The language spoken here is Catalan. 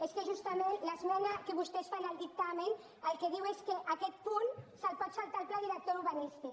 és que justament l’esmena que vostès fan al dictamen el que diu és que aquest punt se’l pot saltar el pla director urbanístic